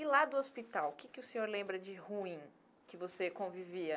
E lá do hospital, o que que o senhor lembra de ruim que você convivia?